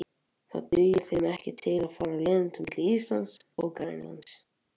Það dugir þeim ekki til að fara alla leiðina milli Íslands og Grænlands.